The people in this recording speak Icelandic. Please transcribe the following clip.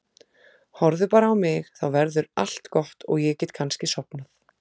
Horfðu bara á mig, þá verður allt gott og ég get kannski sofnað.